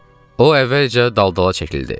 O əvvəlcə daldala çəkildi.